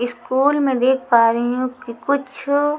school में देख पा रही हूं कि कुछ--